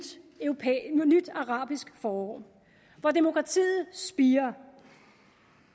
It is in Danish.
arabisk forår hvor demokratiet spirer